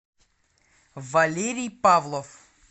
валерий павлов